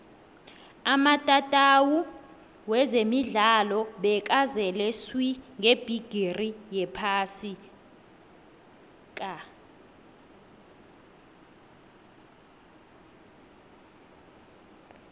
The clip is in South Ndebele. amatatawu wezemidlalo bekazele swi ngebhigiri yephasi ka